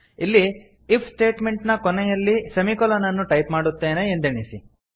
ಇಲ್ಲಿ if statement ನ ಕೊನೆಯಲ್ಲಿ ಸೆಮಿಕೊಲನ್ ಅನ್ನು ಟೈಪ್ ಮಾಡುತ್ತೇನೆ ಎಂದೆಣಿಸಿ